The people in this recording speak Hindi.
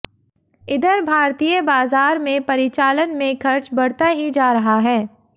इधर भारतीय बाजार में परिचालन में खर्च बढ़ता ही जा रहा है